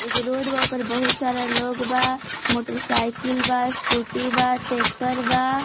एगो रोड बा ओ पर बहुत सारा लोग बा मोटर साइकिल बा स्कूटी बा टेक्टर बा।